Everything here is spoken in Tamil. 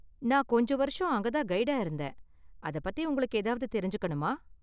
நான் கொஞ்ச வருஷம் அங்க தான் கைடா இருந்தேன். அத பத்தி உங்களுக்கு ஏதாவது தெரிஞ்சுக்கணுமா?